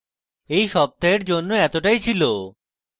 এই সপ্তাহের জন্য এতটাই ছিল